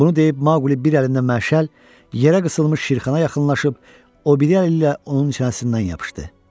Bunu deyib Maquli bir əlində məşəl, yerə qısılmış Şirxana yaxınlaşıb, o biri əli ilə onun çənəsindən yapışdı.